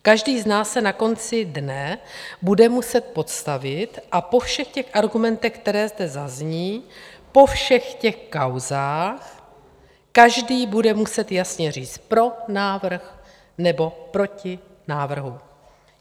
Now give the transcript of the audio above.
Každý z nás se na konci dne bude muset postavit a po všech těch argumentech, které zde zazní, po všech těch kauzách každý bude muset jasně říct: pro návrh, nebo proti návrhu.